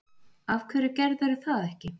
Af hverju gerðirðu það ekki?